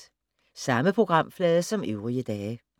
Samme programflade som øvrige dage